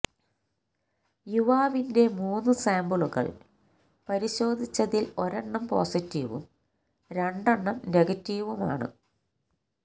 യൂവാവിന്റെ മൂന്നു സാമ്പിളുകള് പരിശോധിച്ചതില് ഒരെണ്ണം പോസിറ്റീവും രണ്ടെണ്ണം നെഗറ്റീവുമാണ്